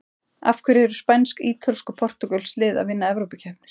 Af hverju eru spænsk, ítölsk og portúgölsk lið að vinna evrópukeppnir?